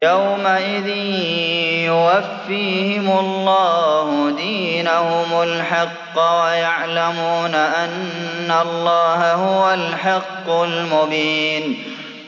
يَوْمَئِذٍ يُوَفِّيهِمُ اللَّهُ دِينَهُمُ الْحَقَّ وَيَعْلَمُونَ أَنَّ اللَّهَ هُوَ الْحَقُّ الْمُبِينُ